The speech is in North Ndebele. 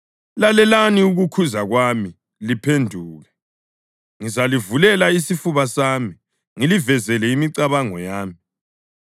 Lalelani ukukhuza kwami liphenduke! Ngizalivulela isifuba sami, ngilivezele imicabango yami.